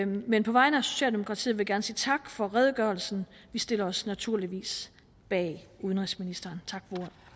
men på vegne af socialdemokratiet vil jeg gerne sige tak for redegørelsen vi stiller os naturligvis bag udenrigsministeren tak